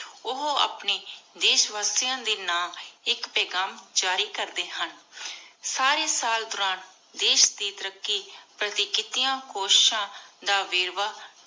ਓਹੋ ਆਪਣੀ ਦੇਸ਼ ਵਾਸਿਯਾਂ ਦੇ ਨਾਮ ਆਇਕ ਪੇਘਾਮ ਜਾਰੀ ਕਰਦੀ ਹਨ। ਸਾਰੀ ਸਾਲ ਦੁਰਾਨ ਦੇਸ਼ ਦੇ ਤਾਰਾਕ਼ੀ ਪਾਰਟੀ ਕਿਤਿਯਾਂ ਕੋਸ਼ਿਸ਼ਾਂ ਦਾ ਵੇਰ੍ਵਾਹ